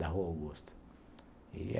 Da Rua Augusta e